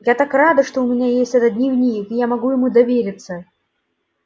я так рада что у меня есть этот дневник и я могу ему довериться